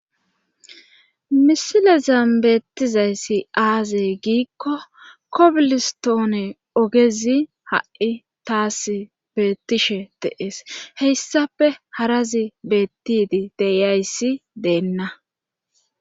misilezan beettizayssi aaze giikko kobilstoone ogezi ha7i taas beettishe de,es heyssape harazi beettidi deyayssi deenna